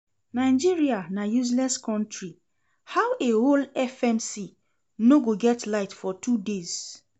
Nigeria na useless country, how a whole FMC no go get light for two days?